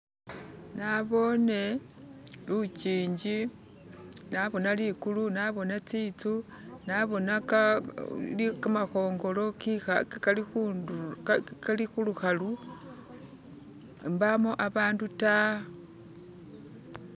Naboone lukingi naboona likulu naboona tsitsu naboona kamakhongolo kali khulukhalu mbamo abandu ta.